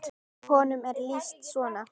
Honum er lýst svona